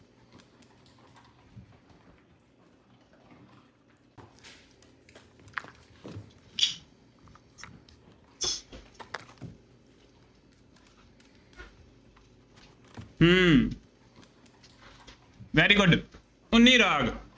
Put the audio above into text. ਹੂੰ very good ਉੱਨੀ ਰਾਗ